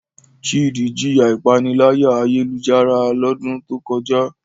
Chidi jiya ipanilaya-ayelujara lodun to koja